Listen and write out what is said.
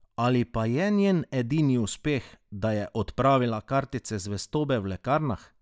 Ali pa je njen edini uspeh, da je odpravila kartice zvestobe v lekarnah?